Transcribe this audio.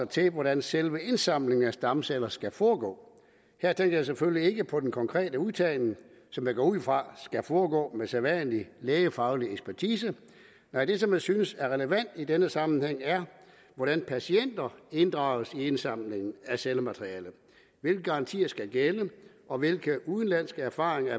til hvordan selve indsamlingen af stamceller skal foregå her tænker jeg selvfølgelig ikke på den konkrete udtagning som jeg går ud fra skal foregå med sædvanlig lægefaglig ekspertise nej det som jeg synes er relevant i denne sammenhæng er hvordan patienter inddrages i indsamlingen af cellematerialet hvilke garantier der skal gælde og hvilke udenlandske erfaringer